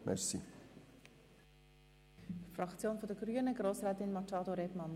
Für die grüne Fraktion hat Grossrätin Machado das Wort.